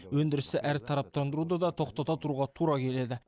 өндірісті әртараптандыруды да тоқтата тұруға тура келеді